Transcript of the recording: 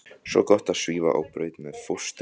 Svo gott að svífa á braut með fóstru.